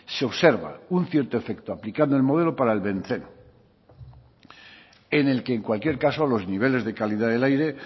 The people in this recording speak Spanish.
se observa un cierto efecto aplicando el modelo para el benceno en el que en cualquier caso los niveles de calidad del aire